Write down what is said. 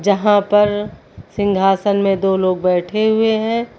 यहां पर सिंहासन में दो लोग बैठे हुए हैं।